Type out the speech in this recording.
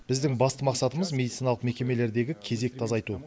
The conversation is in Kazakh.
біздің басты мақсатымыз медициналық мекемелердегі кезекті азайту